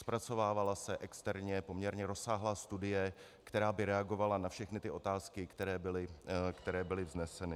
Zpracovávala se externě poměrně obsáhlá studie, která by reagovala na všechny ty otázky, které byly vzneseny.